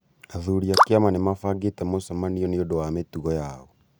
Athuri a kĩama nĩ mabangĩte mũcemanio nĩ ũndũ wa mĩtugo yao